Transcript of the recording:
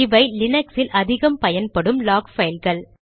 இவை லீனக்ஸில் அதிகம் பயன்படும் லாக் பைல்கள்